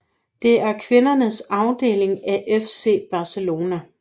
Det er kvindernes afdeling af FC Barcelona